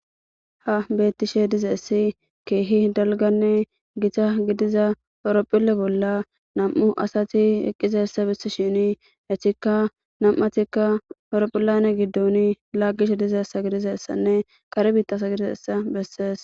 ha bettishe dizeessi keehi dalganne gita gidiza poworophille bolla nam7u asati eqqiza essa bissi shini hetikka nam7atikka awrophillane giddon laggishe dizeessa gidizessanne kare biittasa gidizessa bessees